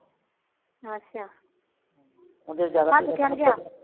ਅੱਛਾ ਅੱਜ ਕਿਆ ਹੋ ਗਿਆ